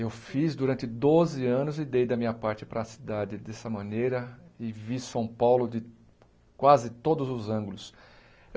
Eu fiz durante doze anos e dei da minha parte para a cidade dessa maneira, e vi São Paulo de quase todos os ângulos.